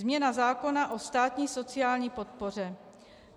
Změna zákona o státní sociální podpoře.